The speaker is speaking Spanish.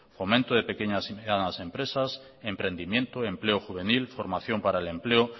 fomento de pequeñas y medianas empresas emprendimiento empleo juvenil formación para el empleo